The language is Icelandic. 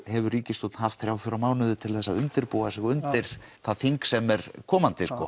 hefur ríkisstjórn haft þrjá til fjóra mánuði til þess að undirbúa sig undir það þing sem er komandi en